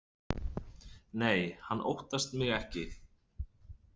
Nei, hann óttast mig ekki.